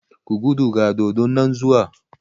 Ku gudu ga dodon nan zuwa!